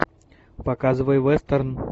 показывай вестерн